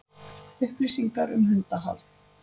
Upplýsingar um hundahald